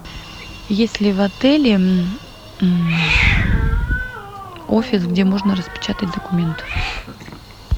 есть ли в отеле офис где можно распечатать документы